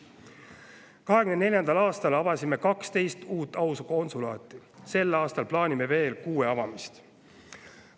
2024. aastal avasime 12 uut aukonsulaati, sel aastal plaanime veel kuue avamist.